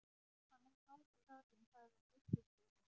Hann er kátur, karlinn, sagði biskupssveinninn.